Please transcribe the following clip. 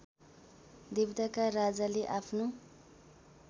देवताका राजाले आफ्नो